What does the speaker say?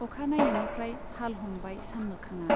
अखा नायैनिफ्राय हाल हमबाय सानमोखांआ।